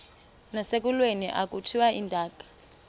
nasekulweni akhutshwe intaka